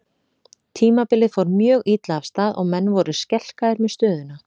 Tímabilið fór mjög illa af stað og menn voru skelkaðir með stöðuna.